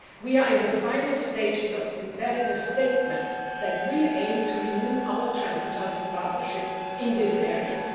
We are in the final stages of preparing a statement that will aim to renew our transatlantic partnership in these areas.